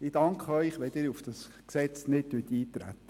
Ich danke Ihnen, wenn Sie nicht auf das Gesetz eintreten.